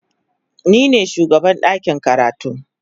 Ni ne shugaban ɗakin karatu.